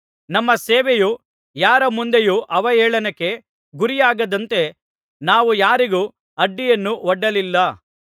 ನಮ್ಮ ಸೇವೆಯು ಯಾರ ಮುಂದೆಯೂ ಅವಹೇಳನಕ್ಕೆ ಗುರಿಯಾಗದಂತೆ ನಾವು ಯಾರಿಗೂ ಅಡ್ಡಿಯನ್ನು ಒಡ್ಡಲಿಲ್ಲ